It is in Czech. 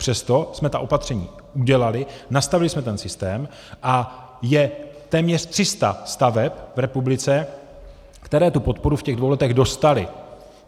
Přesto jsme ta opatření udělali, nastavili jsme ten systém a je téměř 300 staveb v republice, které tu podporu v těch dvou letech dostaly.